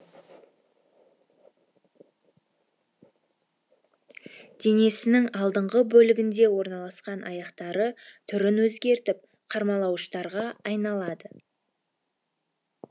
денесінің алдыңғы бөлігінде орналасқан аяқтары түрін өзгертіп қармалауыштарға айналады